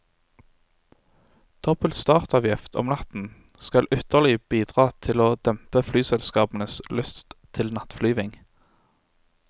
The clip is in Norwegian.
Dobbelt startavgift om natten skal ytterligere bidra til å dempe flyselskapenes lyst til nattflyvning.